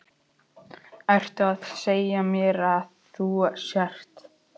Ertu að segja mér að þú sért.